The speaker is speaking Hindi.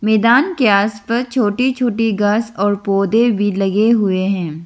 मैदान के आसपास छोटी छोटी घास और पौधे भी लगे हुए हैं।